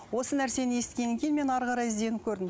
осы нәрсені естігеннен кейін мен әрі қарай ізденіп көрдім